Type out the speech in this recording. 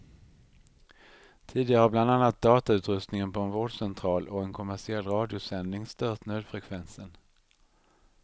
Tidigare har bland annat datautrustningen på en vårdcentral och en kommersiell radiosändning stört nödfrekvensen.